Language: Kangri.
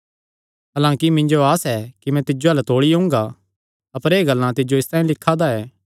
हलांकि मिन्जो आस ऐ कि मैं तौल़ी तिज्जो अल्ल ओंगा अपर एह़ गल्लां तिज्जो इसतांई लिखा दा ऐ